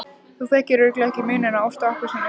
Þú þekkir örugglega ekki muninn á ást og appelsínu.